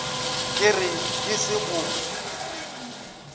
ke re ke se go